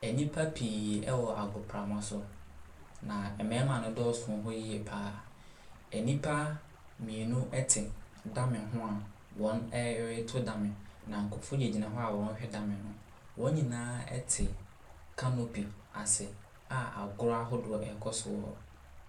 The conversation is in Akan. Nnipa pii ɛwɔ agoprama so na mmarima no dɔsoo wɔ hɔ yie paa. Nnipa mmienu ɛte dame ho a wɔreto dame na nkorɔfo gyinagyina hɔ a wɔrehwɛ dame no. wɔn nyinaa ɛte canopy ase a agorɔ ahodoɔ ɛrekɔ so.